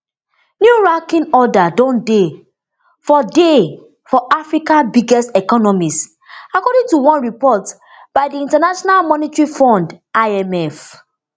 new ranking order don dey for dey for africa biggest economies according to one report by di international monetary fund imf